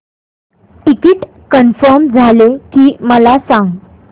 ticket confirm झाले की मला सांग